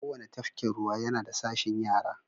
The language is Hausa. Kowane tafkin ruwa yana da sashin yara.